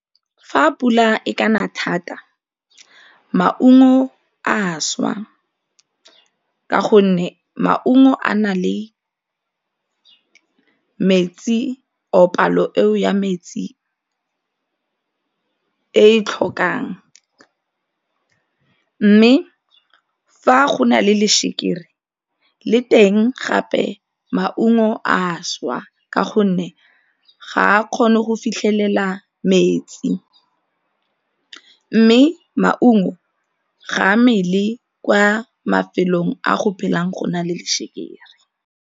Fa pula e ka na thata maungo a swa, ka gonne maungo a na le metsi or palo eo ya metsi e tlhokang mme fa go na le lešeke le teng gape maungo a šwa ka gonne ga a kgone go fitlhelela metsi mme maungo ga mmele kwa mafelong a go phelang go na le lešekere.